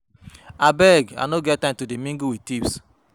Abeg I no get time to de mingle wit thieves